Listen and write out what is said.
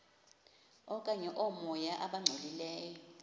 okanye oomoya abangcolileyo